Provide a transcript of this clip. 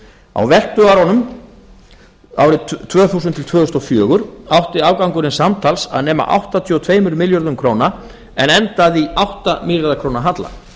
á veltuárunum árið tvö þúsund til tvö þúsund og fjögur átti afgangurinn samtals að nema áttatíu og tveimur milljörðum króna en endaði í átta milljarða króna halla